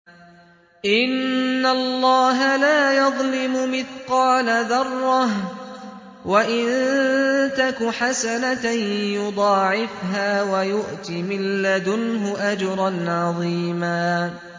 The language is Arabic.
إِنَّ اللَّهَ لَا يَظْلِمُ مِثْقَالَ ذَرَّةٍ ۖ وَإِن تَكُ حَسَنَةً يُضَاعِفْهَا وَيُؤْتِ مِن لَّدُنْهُ أَجْرًا عَظِيمًا